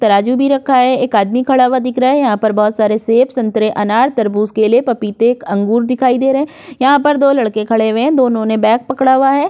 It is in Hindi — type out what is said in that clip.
तराजू भी रखा है। एक आदमी खड़ा हुआ दिख रहा है। यहाँ पर बोहोत सारे सेब संतरे अनार तरबूज केले पपीते अंगूर दिखाई दे रहे हैं। यहाँ पर दो लड़के खड़े हुए हैं। दोनों ने बैग पकड़ा हुआ है।